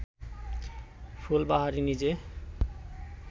ফুলবাহারি নিজে